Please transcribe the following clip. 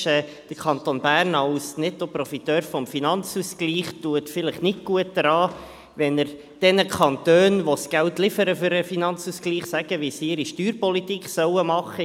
Als Nettoprofiteur des Finanzausgleichs täte der Kanton Bern vielleicht nicht gut daran, wenn er denjenigen Kantonen, die das Geld für den Finanzausgleich liefern, sagen würde, wie sie ihre Steuerpolitik machen sollen.